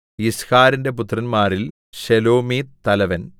യിസ്ഹാരിന്റെ പുത്രന്മാരിൽ ശെലോമീത്ത് തലവൻ